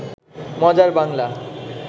মজার বাংলা